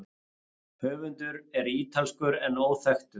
Höfundur er ítalskur en óþekktur.